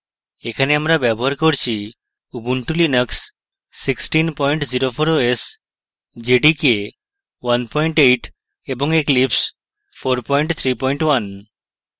এখানে আমরা ব্যবহার করছি: ubuntu linux 1604 os jdk 18 এবং eclipse 431